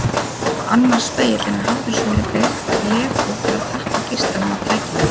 Annar spegillinn er hafður svolítið lekur til að tappa geislanum af tækinu.